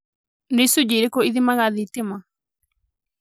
Nĩ icunjĩ ĩrikũ ĩthimaga thitima?